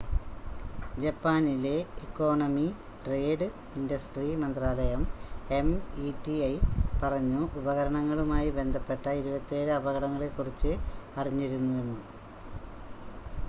ജപ്പാനിലെ economy trade industry മന്ത്രാലയം METI പറഞ്ഞു ഉപകരണങ്ങളുമായി ബന്ധപ്പെട്ട 27 അപകടങ്ങളെക്കുറിച്ച് അറിഞ്ഞിരുന്നുവെന്ന്